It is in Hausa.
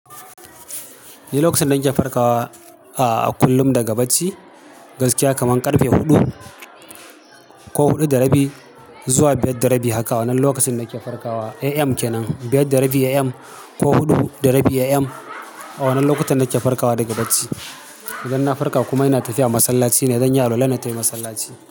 Ni lokacin da nake farkawa a kullum daga bacci gaskiya kaman karfe hudu ko hudu da rabi zuwa biyar da rabi haka wannan lokacin da ke farkawa AM kenan biyar da rabi AM ko hudu da rabi AM a wannan lokutan nake farkawa daga bacci. Idan na farka kuma ina tafiya masallaci ne, zanyi alwala na tai masallaci.